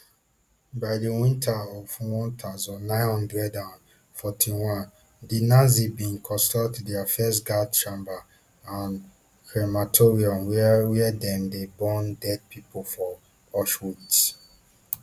by di winter of one thousand, nine hundred and forty-one di nazis bin construct dia first gas chamber and crematorium wia wia dem dey burn deadi body for auschwitz